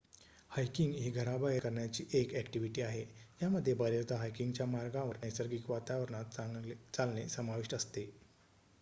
hiking ही घराबाहेर करण्याची एक ॲक्टिव्हिटी आहे ज्यामध्ये बरेचदा हायकिंगच्या मार्गांवर नैसर्गिक वातावरणात चालणे समाविष्ट असते